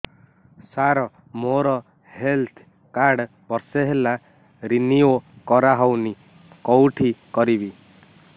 ସାର ମୋର health card ବର୍ଷେ ହେଲା ରିନିଓ କରା ହଉନି କଉଠି କରିବି